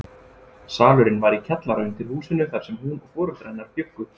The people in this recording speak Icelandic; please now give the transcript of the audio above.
Salurinn var í kjallara undir húsinu þar sem hún og foreldrar hennar bjuggu.